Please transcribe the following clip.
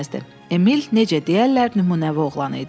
Emil, necə deyərlər, nümunəvi oğlan idi.